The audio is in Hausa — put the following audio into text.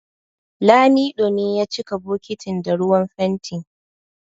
Lamido ne ya cika bokitin da ruwan fenti